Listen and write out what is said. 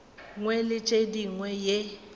nngwe le ye nngwe ye